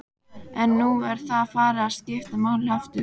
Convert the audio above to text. En nú er það farið að skipta máli aftur?